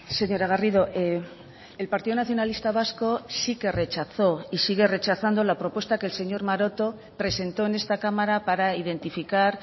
señora garrido el partido nacionalista vasco sí que rechazó y sigue rechazando la propuesta que el señor maroto presentó en esta cámara para identificar